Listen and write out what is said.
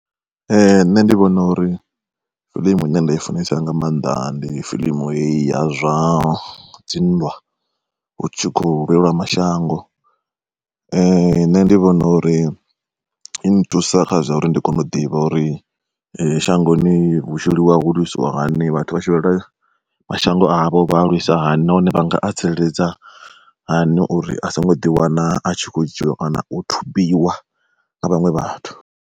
Ee nṋe ndi vhona uri fiḽimu ine nda i funesa nga maanḓa ndi fiḽimu heyi ya zwa dzinndwa. Hu tshi kho lwelwa mashango nṋe ndi vhona uri i nthusa kha zwa uri ndi kone u ḓivha uri shangoni hu tshi lwiwa hu lwisiwa hani, vhathu vha tshi lwela mashango avho vha lwisa hani nahone vhanga a tsireledza hani uri a songo ḓi wana a tshi khou dzhiiwa kana u thubiwa nga vhaṅwe vhathu.